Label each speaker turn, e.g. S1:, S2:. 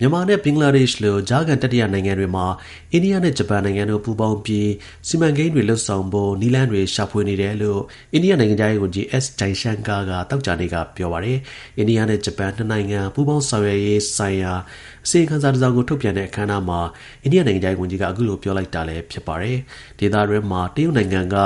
S1: မြန်မာနဲ့ ဘင်္ဂလားဒေ့ရှ်လို ကြားခံ တတိယ နိုင်ငံတွေမှာ အိန္ဒိယနဲ့ ဂျပန်နိုင်ငံတို့ ပူးပေါင်းပြီး စီမံကိန်းတွေ လုပ်ဆောင်ဖို့ နည်းလမ်း တွေ ရှာဖွေနေတယ်လို့ အိန္ဒိယ နိုင်ငံခြားရေး ဝန်ကြီး S Jaishankar က သောကြာနေ့က ပြောပါတယ်။ အိန္ဒိယနဲ့ ဂျပန် နှစ်နိုင်ငံ ပူးပေါင်းဆောင်ရွက်ရေးဆိုင်ရာ အစီရင်ခံစာ တစ်စောင်ကို ထုတ်ပြန်တဲ့အခမ်းအနားမှာ အိန္ဒိယ နိုင်ငံခြားရေး ဝန်ကြီးက အခုလို ပြောလိုက်တာလည်း ဖြစ်ပါတယ်။ ဒေသတွင်းမှာ တရုတ်နိုင်ငံက